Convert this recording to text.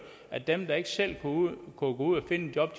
at dem der ikke selv kunne gå ud og finde et job